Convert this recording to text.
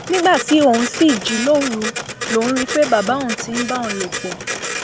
nígbà tí òun ṣì jí lóru lòún rí i pé bàbá òun ti ń bá òun lò pọ